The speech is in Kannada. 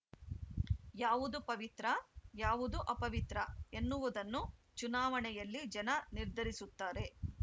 ಯಾವುದು ಪವಿತ್ರ ಯಾವುದು ಅಪವಿತ್ರ ಎನ್ನುವುದನ್ನು ಚುನಾವಣೆಯಲ್ಲಿ ಜನ ನಿರ್ಧರಿಸುತ್ತಾರೆ